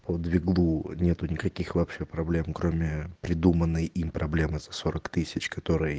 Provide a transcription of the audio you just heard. по двиглу нет никаких вообще проблем кроме придуманной им проблемы за сорок тысяч которой